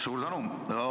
Suur tänu!